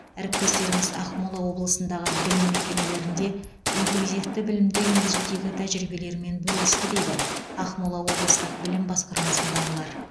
әріптестеріміз ақмола облысындағы білім мекемелерінде инклюзивті білімді енгізудегі тәжірибелерімен бөлісті дейді ақмола облыстық білім басқармасындағылар